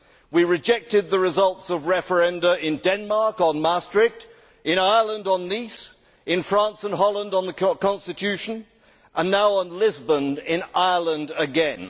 We rejected the results of referenda in Denmark on Maastricht, in Ireland on Nice, in France and Holland on the Constitution and now on Lisbon in Ireland again.